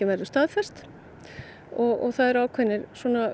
verður staðfest og það er ákveðin